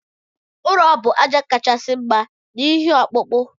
Ụrọ bu aja kachasi mma na ihe ọkpụkpụ.